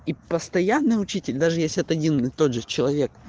и постоянно учитель даже если это один и тот же человек